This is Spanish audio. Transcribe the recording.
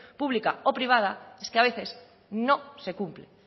pública o privada es que a veces no se cumplen